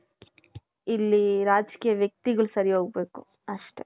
ಇಲ್ಲಿ ರಾಜಕೀಯ ವ್ಯಕ್ತಿಗಳು ಸರಿ ಹೋಗ್ಬೇಕು ಅಷ್ಟೆ.